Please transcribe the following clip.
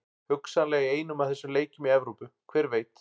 Hugsanlega í einum af þessum leikjum í Evrópu, hver veit?